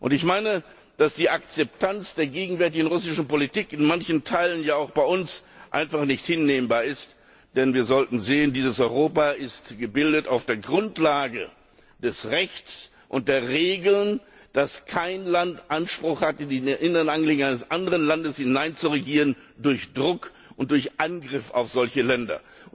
Ich meine, dass die Akzeptanz der gegenwärtigen russischen Politik in manchen Teilen auch bei uns einfach nicht hinnehmbar ist, denn wir sollten sehen, dieses Europa ist gebildet auf der Grundlage des Rechts und der Regeln, dass kein Land Anspruch hat, in die inneren Angelegenheiten eines anderen Landes hineinzuregieren durch Druck und durch Angriff auf solche Länder.